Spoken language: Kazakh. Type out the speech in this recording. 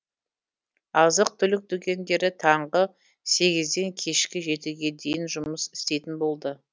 азық түлік дүкендері таңғы сегізден кешкі жетіге дейін жұмыс істейтін болды